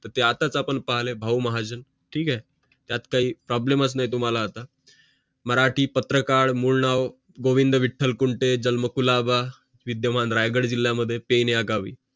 ते आताच आपण पाहिलं भाऊ महाजन ठीक आहे त्यात काही problem असलं तुम्हाला तर मराठी पत्रकार मूळ नाव गोविंद विठ्ठल कुंटे जन्म कुलवा विद्यमान रायगड जिल्या मध्ये फेड या गावी